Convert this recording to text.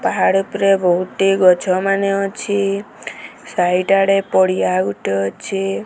ପାହାଡ ଉପରେ ବହୁଟି ଗଛ ମାନେ ଅଛି ସାଇଟ ଆଡେ ପଡିଆ ଆଉ ଗୋଟେ ଅଛି।